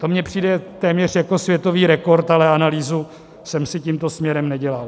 To mně přijde téměř jako světový rekord, ale analýzu jsem si tímto směrem nedělal.